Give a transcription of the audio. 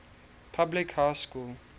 public high school